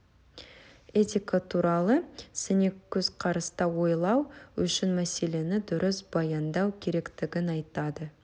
этика туралы сыни көзқараста ойлау үшін мәселені дұрыс баяндау керектігін айтады